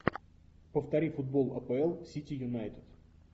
повтори футбол апл сити юнайтед